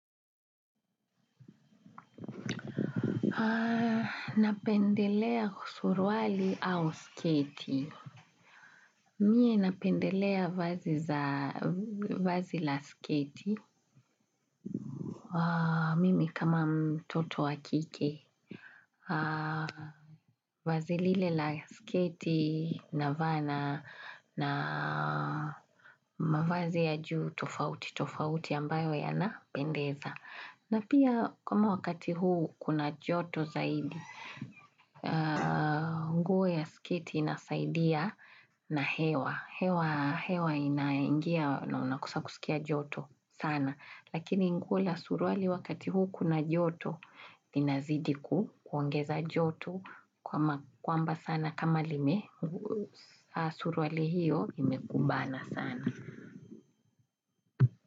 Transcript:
Napendelea suruali au sketi. Mimi napendelea vazi la sketi. Mimi kama mtoto wa kike. Vazi lile la sketi navaa na na mavazi ya juu tofauti. Tofauti ambayo yanapendeza. Na pia kama wakati huu kuna joto zaidi. Siketi inasaidia na hewa. Hewa inaingia na unakosa kusikia joto sana. Lakini nikiwa na suruali wakati huu kuna joto inazidi kuongeza joto. Kwamba sana kama lime suruali hiyo imekubana sana.